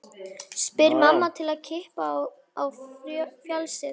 spyr mamma til að klippa á fjasið.